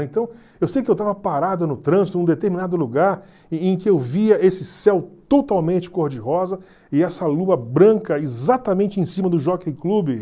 Então eu sei que eu estava parado no trânsito num determinado lugar em em que eu via esse céu totalmente cor-de-rosa e essa lua branca exatamente em cima do Jockey Club.